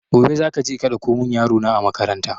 Gobe za ka je ka ɗauko mun yaro na a makaranta